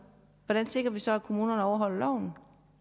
hvordan sikrer vi så at kommunerne overholder loven